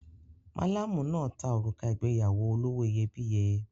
Malamu náà ta òrùka ìgbéyàwó olówó iyebíye.